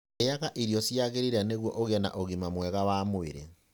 Rĩaga irio iria ciagĩrĩire nĩguo ũgĩe na ũgima mwega wa mwĩrĩ.